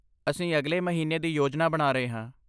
ਅਸੀਂ ਅਗਲੇ ਮਹੀਨੇ ਜਾਣ ਦੀ ਯੋਜਨਾ ਬਣਾ ਰਹੇ ਹਾਂ।